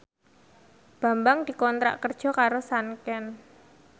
Bambang dikontrak kerja karo Sanken